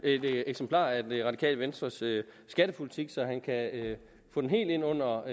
et eksemplar af det radikale venstres skattepolitik så han kan få den helt ind under